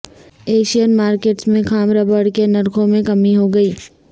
Asian markets میں خام rubber کے نرخوں میں کمی ہوگئی